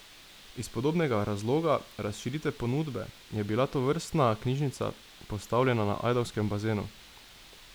Iz podobnega razloga, razširitve ponudbe, je bila tovrstna knjižnica postavljena na ajdovskem bazenu.